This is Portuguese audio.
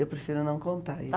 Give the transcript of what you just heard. Eu prefiro não contar isso.